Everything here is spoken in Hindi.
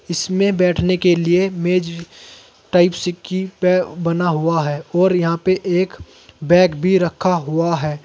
इसमें बैठने के लिए मेज टाइप सी की पे बना हुआ है और यहां पे एक बैग भी रखा हुआ है।